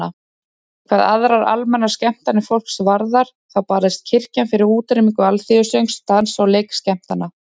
Hvað aðrar almennar skemmtanir fólks varðar þá barðist kirkjan fyrir útrýmingu alþýðusöngs, dans- og leikskemmtana.